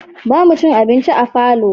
Ba mu cin abinci a falo